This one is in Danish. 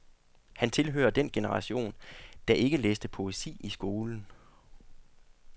Han tilhører den generation, der ikke læste poesi i skolen.